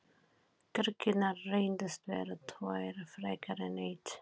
Kirkjurnar reyndust vera tvær frekar en ein.